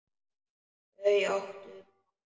Þau áttu bágt!